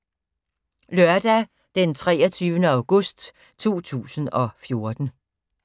Lørdag d. 23. august 2014